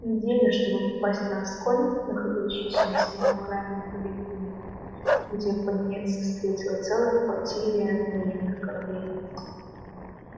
неделя чтобы попасть на асконь находящуюся на самой окраине периферии где пониетса встретила целая флотилия военных кораблей